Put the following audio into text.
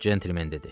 Centlmen dedi.